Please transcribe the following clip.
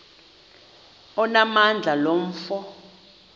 onamandla lo mfo